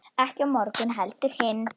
Ekki á morgun heldur hinn.